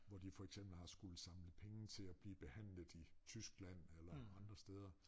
Hvor de for eksempel har skulle samle penge til at blive behandlet i Tyskland eller andre steder